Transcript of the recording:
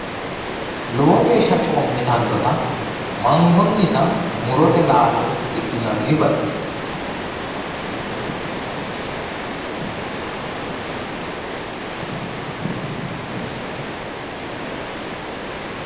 Lowo geeshsha coommitannota mangonnita murote laalo hidhinanni bayicho.